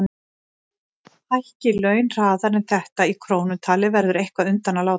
Hækki laun hraðar en þetta í krónum talið verður eitthvað undan að láta.